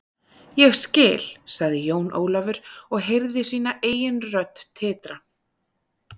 Ég skil, sagði Jón Ólafur og heyrði sína eigin rödd titra.